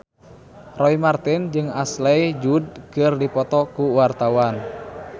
Roy Marten jeung Ashley Judd keur dipoto ku wartawan